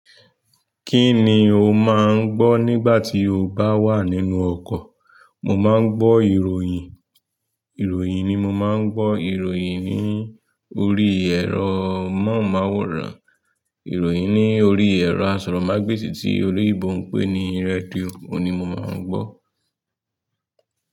Kí ni o máà ń gbọ́ nígbà tí o bá wà nínú ọkọ̀? Mo máà ń gbọ́ ìròyìn. Ìròyìn ni mo máa ń gbọ́. Ìròyìn ní orí ẹ́rọ amọ́ùnmọ́ùwòrán, ìròyìn ní orí ẹ́rọ asọ̀rọ̀mágbèsì tí olóyibo npé ní rẹ́diò ní mo máa ń gbọ́